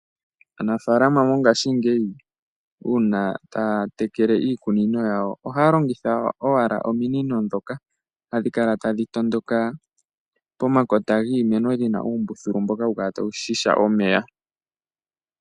Aanafaalama mongashingeyi, uuna ta ya tekele iikunino yawo, oha ya longitha owala ominino ndhoka ha dhi kaka ya dhi tondoka omeya, omanga mongashingeyi uuna ya ya tekele iikunino yawo oha ya longitha iwala ominino ndhoka ha dhi kaka ta dhi tondoka omeya pomakota giimeno puna uumbululu ta wu ziya omeya.